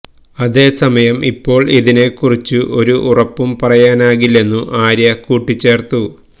അതേ സമയം ഇപ്പോൾ ഇതിനെ കുറിച്ചു ഒരു ഉറപ്പു പറയാനാകില്ലെന്നു ആര്യ കൂട്ടിച്ചേർത്തു